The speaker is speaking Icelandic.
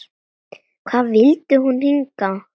Hvað vildi hún hingað?